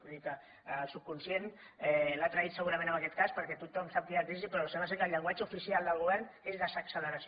vull dir que el subconscient l’ha traït segurament en aquest cas perquè tothom sap que hi ha crisi però sembla que en el llenguatge oficial del go vern és desacceleració